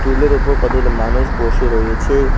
ওপর কতগুলো মানুষ বসে রয়েছে।